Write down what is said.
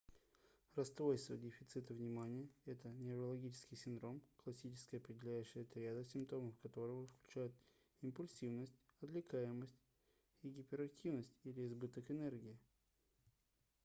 расстройство дефицита внимания это неврологический синдром классическая определяющая триада симптомов которого включает импульсивность отвлекаемость и гиперактивность или избыток энергии